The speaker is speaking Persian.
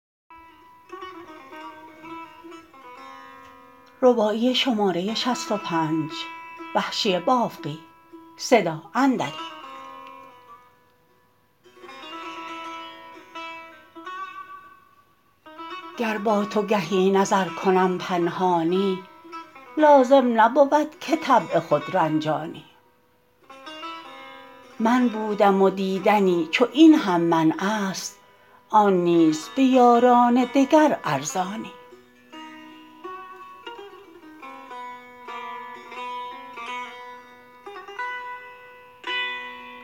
گر با تو گهی نظر کنم پنهانی لازم نبود که طبع خود رنجانی من بودم و دیدنی چو این هم منع است آن نیز به یاران دگر ارزانی